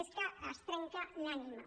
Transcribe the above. és que es trenca l’ànima